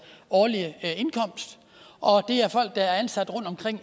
årlige indkomst og det er folk der er ansat